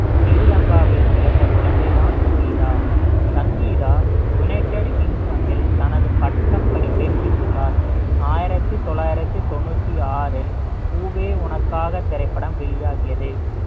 ஸ்ரீலங்காவில் பிறந்த குழந்தைதான் சங்கீதா சங்கீதா united kingdom இல் தனது பட்டப்படிப்பை முடித்துள்ளார் ஆயிரத்தி தொள்ளாயிரத்தி தொண்ணூத்தி ஆறில் பூவே உனக்காக திரைப்படம் வெளியாகியது